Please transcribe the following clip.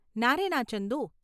ના રે ના ચંદુ.